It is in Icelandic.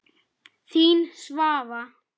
Þín, Svava.